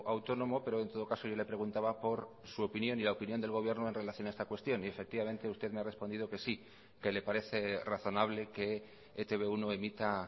autónomo pero en todo caso yo le preguntaba por su opinión y la opinión del gobierno en relación a esta cuestión y efectivamente usted me ha respondido que sí que le parece razonable que e te be uno emita